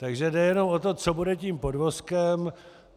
Takže jde jenom o to, co bude tím podvozkem.